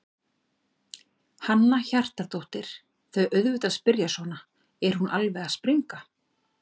Hanna Hjartardóttir: Þau auðvitað spyrja svona, er hún alveg að springa?